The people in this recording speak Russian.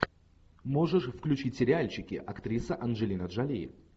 можешь включить сериальчики актриса анджелина джоли